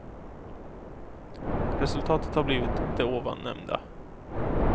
Resultatet har blivit det ovan nämnda.